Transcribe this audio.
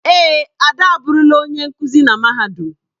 Èè, Ade aburula onye nkuzi na mahadum.